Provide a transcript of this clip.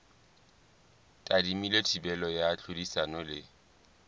tadimilwe thibelo ya tlhodisano le